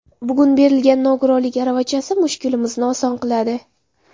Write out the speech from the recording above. Bugun berilgan nogironlik aravachasi mushkulimizni oson qiladi.